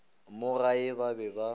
mo gae ba be ba